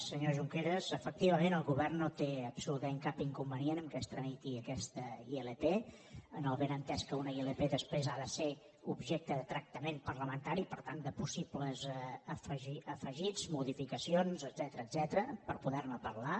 senyor junqueras efectivament el govern no té absolutament cap inconvenient que es tramiti aquesta ilp amb el benentès que una ilp després ha de ser objecte de tractament parlamentari i per tant de possibles afegits modificacions etcètera per poder ne parlar